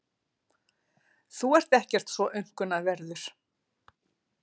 Þú ert ekkert svo aumkunarverður.